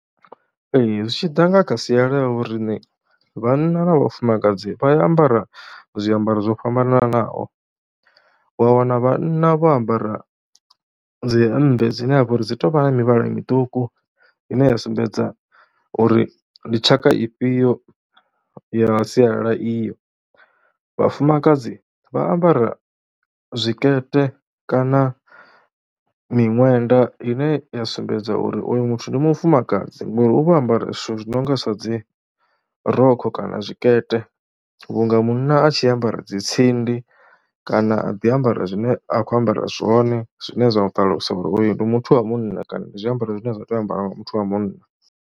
Ee zwi tshi ḓa kha sia ḽa vho riṋe vhanna na vhafumakadzi vha ambara zwiambaro zwo fhambananaho, wa wana vhanna vho ambara dzi hemmbe dzine ha vha uri dzi tou vha na mivhala miṱuku ine ya sumbedza uri ndi tshaka ifhio ya sialala iyo. Vhafumakadzi vha ambara zwikete kana miṅwenda ine ya sumbedza uri uyu muthu ndi mufumakadzi ngori u vha o ambara zwithu zwi no nga zwa dzi rokho kana zwikete vhunga munna a tshi ambara dzi tsindi kana a ḓi ambara zwine a khou ambara zwone, zwine zwa nga ṱalusa uri uyu ndi muthu wa munna kana ndi zwiambaro zwine zwa tea u ambarwa nga muthu wa munna.